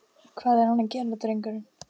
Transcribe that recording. Hvað er hann að gera drengurinn?